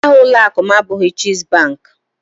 Aha ụlọakụ m abụghị chess bank